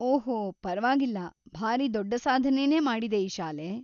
ಓಹೋ ಪರ್ವಾಗಿಲ್ಲ, ಭಾರೀ ದೊಡ್ಡ ಸಾಧನೆನೇ ಮಾಡಿದೆ ಈ ಶಾಲೆ.